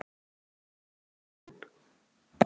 Án þess að taka lán!